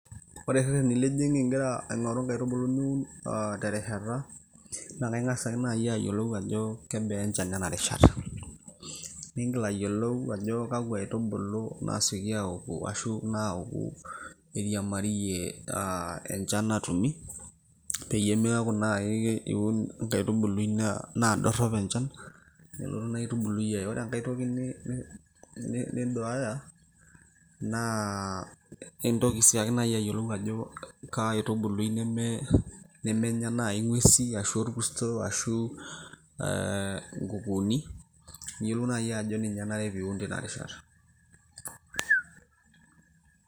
ore irrereni lijing ingira aing'oru inkaitubulu niun terishata naa kaingas ake naaji ayiolou ajo kebaa enchan ena rishata niingil ayiolou ajo kakwa aitubulu naasioki aoku ashu naoku eiriamariyie aa enchan natumi peyie meeku naaji iun inkaitubului naa dorrop enchan nelotu ina aitubului aye ore enkay toki ni niduaya naa intoki sii ake naaji ayiolou ajo kaa aitubului nemenya naaji ing'uesi ashu orkurto ashu nkukuuni niyiolou naaji ajo ninye enare piun tinarishata.